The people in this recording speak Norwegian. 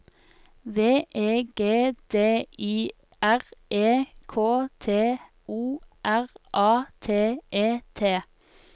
V E G D I R E K T O R A T E T